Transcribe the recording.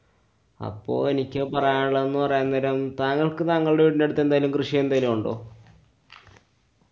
അപ്പൊ എനിക്ക് പറയാനുള്ളത് എന്നുപറയാന്‍ന്നേരം താങ്കള്‍ക്ക് താങ്കളുടെ വീടിന്‍ടെ അടുത്ത് എന്തെങ്കിലും കൃഷി എന്തേലും ഉണ്ടോ?